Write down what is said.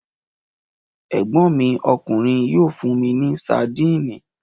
Ẹ̀gbọ́n mi ọkùnrin yóò fún mi ní sadínì.